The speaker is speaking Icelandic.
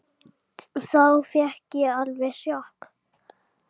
Þá fékk ég alveg sjokk.